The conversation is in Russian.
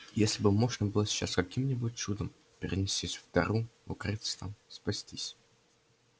если бы можно было сейчас каким-нибудь чудом перенестись в тару укрыться там спастись